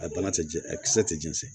A bana ti jɛn a kisɛ tɛ jigin